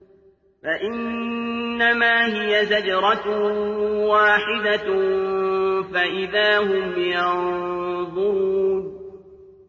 فَإِنَّمَا هِيَ زَجْرَةٌ وَاحِدَةٌ فَإِذَا هُمْ يَنظُرُونَ